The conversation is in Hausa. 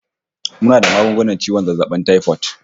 Muna da magungunan ciwon zazzabin taifot